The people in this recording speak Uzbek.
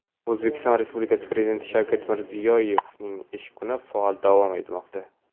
O‘zbekiston Prezidenti Shavkat Mirziyoyevning ish kuni faol davom etmoqda.